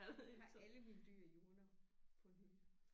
Jeg har alle mine dyr i urner på en hylde